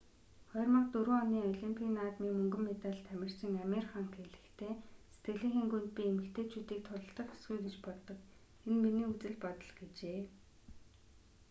2004 оны олимпийн наадмын мөнгөн медальт тамирчин амир хан хэлэхдээ сэтгэлийнхээ гүнд би эмэгтэйчүүдийг тулалдах ёсгүй гэж боддог энэ миний үзэл бодол гэжээ